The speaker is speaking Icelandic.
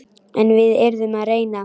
En við yrðum að reyna.